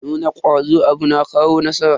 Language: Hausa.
Nuna kwazo a abu na kawo nasara.